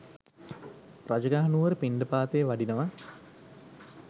රජගහ නුවර පිණ්ඩපාතයේ වඩිනවා.